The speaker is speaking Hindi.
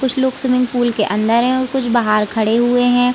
कुछ लोग स्विमिंग पूल के अंदर है और कुछ बाहर खड़े हुए है।